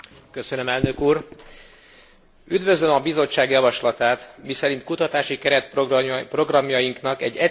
Üdvözlöm a Bizottság javaslatát, miszerint kutatási keretprogramjainknak egy egyszerűsítési folyamaton kell átesniük.